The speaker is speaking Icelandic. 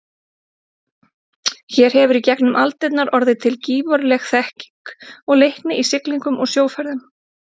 Hér hefur í gegnum aldirnar orðið til gífurleg þekking og leikni í siglingum og sjóferðum.